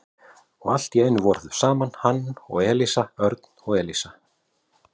Og allt í einu voru þau saman, hann og Elísa, Örn og Elísa.